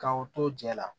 Ka o to jɛ la